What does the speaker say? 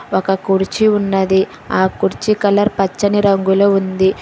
ఒక్క కుర్చీ ఉన్నది ఆ కుర్చీ కలర్ పచ్చని రంగులో ఉంది.